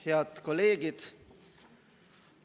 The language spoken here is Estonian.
Head kolleegid!